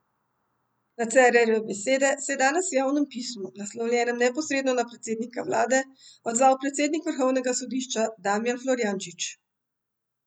Na Cerarjeve besede se je danes v javnem pismu, naslovljenem neposredno na predsednika vlade, odzval predsednik vrhovnega sodišča Damijan Florjančič.